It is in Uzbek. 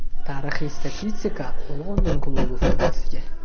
Tarixiy statistika London klubi foydasiga.